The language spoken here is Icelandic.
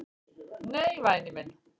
"""Nei, væni minn."""